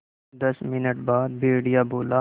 दस मिनट बाद भेड़िया बोला